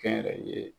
Kɛnyɛrɛye